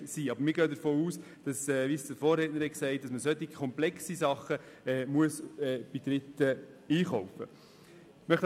Wir gehen jedoch davon aus, dass man solche komplexen Aufgaben bei Dritten einkaufen muss, wie es auch mein Vorredner gesagt hat.